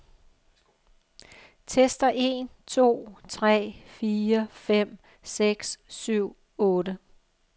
Tester en to tre fire fem seks syv otte.